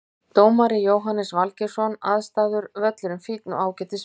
Dómari Jóhannes Valgeirsson Aðstæður Völlurinn fínn og ágætis veður.